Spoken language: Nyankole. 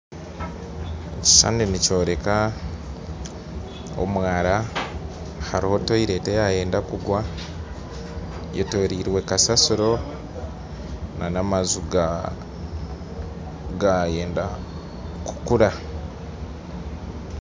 Ekishushani nikyoreka omwara hariho toyireti eyayenda kugwa eyetoroirwe kasasiro n'amaju gayenda kukura.